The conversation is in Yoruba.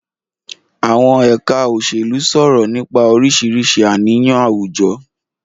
Àwọn ẹ̀ka òṣèlú sọ̀rọ̀ nípa oríṣiríṣi àníyàn àwùjọ.